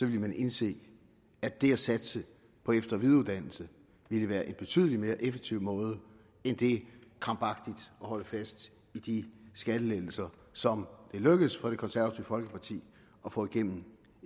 ville man indse at det at satse på efter og videreuddannelse ville være en betydelig mere effektiv måde end det krampagtigt at holde fast i de skattelettelser som det er lykkedes for det konservative folkeparti at få igennem